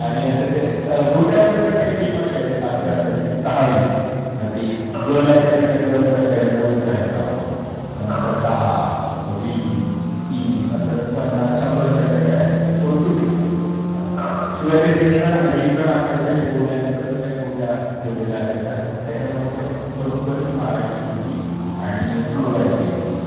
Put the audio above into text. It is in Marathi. आणि अस ते गोट्यामध्ये पण काही गेम असायचे असे असायचे की दहा वीसमध्ये गल असायची त्या गलमध्ये पहिल्यांदा उतरायचं आपण मग नंतर 10 मग 20 30 पन्नास शंभर पर्यंत करायचं कि तो सुटला शेवटी ते रिंगण रिंगण आखायचे ते गोल त्याच्या गोट्याठेवलेल्या असायच्या त्याबरोबर ती मारायची गोटी आणि उडवायची एक गोटी